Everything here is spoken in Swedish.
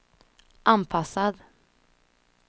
anpassad